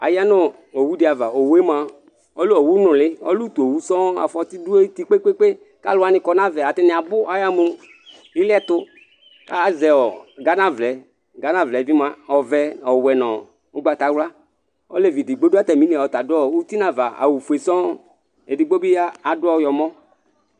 ɑyɑnowụɗiɑvɑ õwụɛmụɑ ɔlɛ õwʊ ɲụli õtụowụ sɔoo ɑfɔti ɗụɑyʊtikpɛkpɛkpɛ kɑluwɑṅi ƙɔɲɑvɑ ɑtɑɲiɑbu kʊ ɑyɑmũ iliɛtu kɑsɛo ghɑɲɑvlɛyɛ ghɑɲɑvlɛ bimụạ ɔvẽ ɔwẽ nu ʊkpɑtɑwlɑ ɔlụɛɗgbọ ɗụɑtɑmili ωtiɲɑvɑ ɑwụfụɛ sɔo ɛɗgbóbiɑ ɗụ õyọmɔ